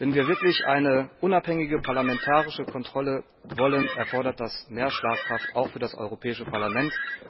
Wenn wir wirklich eine unabhängige parlamentarische Kontrolle wollen, erfordert das mehr Schlagkraft auch für das Europäische Parlament.